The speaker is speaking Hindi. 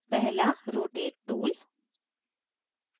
पहला rotate tool